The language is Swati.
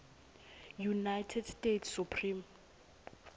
united states supreme